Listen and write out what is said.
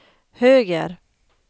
höger